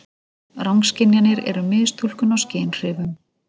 Rangskynjanir eru mistúlkun á skynhrifum.